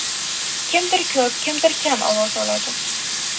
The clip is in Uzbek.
Kimdir ko‘p, kimdir kam ovoz oladi.